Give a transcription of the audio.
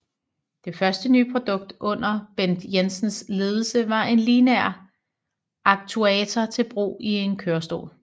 Det første nye produkt under Bent Jensens ledelse var en lineær aktuator til brug i en kørestol